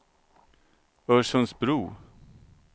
Örsundsbro